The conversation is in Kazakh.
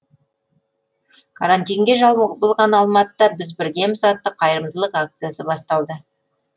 карантинге жабылған алматыда біз біргеміз атты қайырымдылық акциясы басталды